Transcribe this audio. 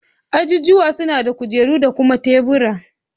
Ajijuwa suna da kujeru da kuma tebur